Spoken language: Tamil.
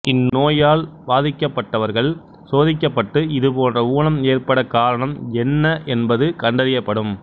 இந்நோயால் பாதிக்கப்பட்டவர்கள் சோதிக்கப்பட்டு இதுபோன்ற ஊனம் ஏற்பட காரணம் என்ன என்பது கண்டறியப்படும்